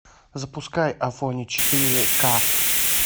запускай афоня четыре ка